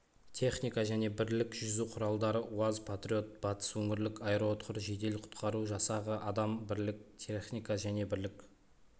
техника және бірлік жүзу құралдары уаз-патриотбатыс өңірлік аэроұтқыр жедел-құтқару жасағы адам бірлік техника және бірлік